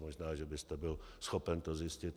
Možná že byste byl schopen to zjistit.